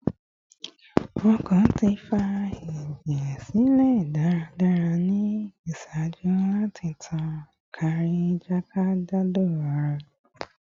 Ọkàn ti fa ẹjẹ silẹ daradara ni iṣaaju lati tan kaakiri jakejado ara